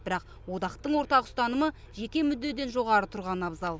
бірақ одақтың ортақ ұстанымы жеке мүддеден жоғары тұрғаны абзал